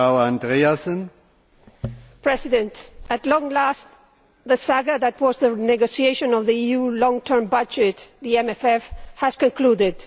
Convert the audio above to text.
Mr President, at long last the saga that was the negotiation of the EU long term budget, the MFF, has concluded.